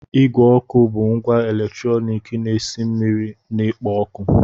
Igwe ọkụ bụ ngwa eletrọnịkị na-esi mmiri na-ekpo ọkụ.